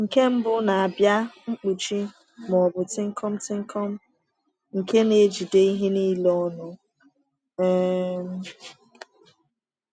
Nke mbụ na-abịa mkpuchi, ma ọ bụ tịnkọm̄ tịnkọm̄, nke na-ejide ihe niile ọnụ. um